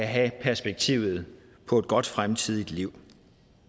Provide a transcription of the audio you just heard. have perspektivet på et godt fremtidigt liv